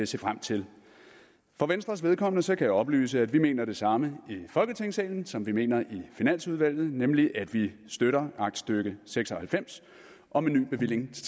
se frem til for venstres vedkommende kan jeg oplyse at vi mener det samme i folketingssalen som vi mener i finansudvalget nemlig at vi støtter aktstykke seks og halvfems om en ny bevilling til